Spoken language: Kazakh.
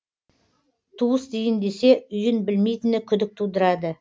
туыс дейін десе үйін білмейтіні күдік тудырады